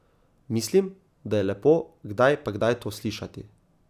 Mislim, da je lepo kdaj pa kdaj to slišati.